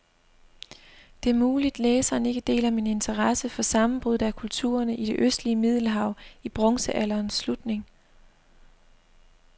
Det er muligt, læseren ikke deler min interesse for sammenbruddet af kulturerne i det østlige middelhav i bronzealderens slutning.